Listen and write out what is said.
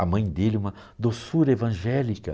A mãe dele, uma doçura evangélica.